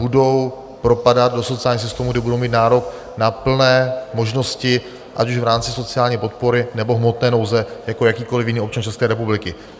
Budou propadat do sociálního systému, kde budou mít nárok na plné možnosti, ať už v rámci sociální podpory, nebo hmotné nouze jako jakýkoli jiný občan České republiky.